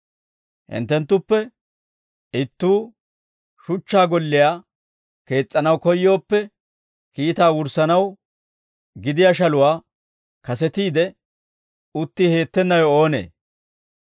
«Hinttenttuppe ittuu shuchchaa golliyaa kees's'anaw koyyooppe, kiitaa wurssanaw gidiyaa shaluwaa kasetiide utti heettennawe oonee?